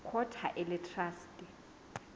court ha e le traste